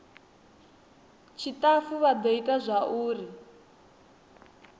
tshitafu vha do ita zwauri